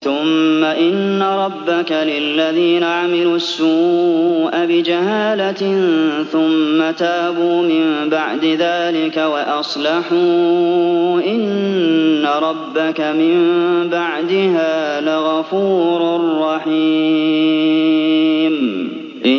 ثُمَّ إِنَّ رَبَّكَ لِلَّذِينَ عَمِلُوا السُّوءَ بِجَهَالَةٍ ثُمَّ تَابُوا مِن بَعْدِ ذَٰلِكَ وَأَصْلَحُوا إِنَّ رَبَّكَ مِن بَعْدِهَا لَغَفُورٌ رَّحِيمٌ